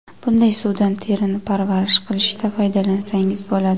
Bunday suvdan terini parvarish qilishda foydalansangiz bo‘ladi.